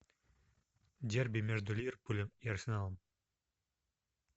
дерби между ливерпулем и арсеналом